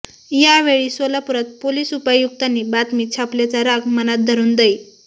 यावेळी सोलापुरात पोलिस उपायुक्तांनी बातमी छापल्याचा राग मनात धरून दै